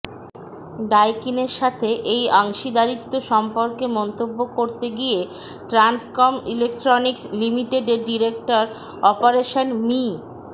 ডাইকিনের সাথে এই অংশীদারিত্ব সম্পর্কে মন্তব্য করতে গিয়ে ট্রান্সকম ইলেক্ট্রনিকস লিমিটেডের ডিরেক্টর অপারেশন্স মি